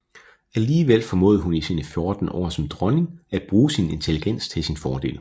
Alligevel formåede hun i sine fjorten år som dronning at bruge sin intelligens til sin fordel